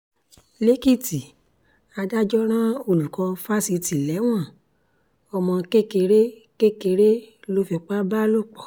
lèkìtì adájọ́ rán olùkọ́ fásitì lẹ́wọ̀n ọmọ kékeré kékeré ló fipá bá lò pọ̀